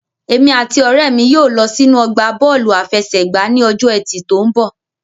Èmi àti ọ̀rẹ́ mi yóò lọ sínú ọgbà Bọ́ọ̀lù àfẹsẹ̀gbá ní ọjọ́ ẹtì tó mbọ̀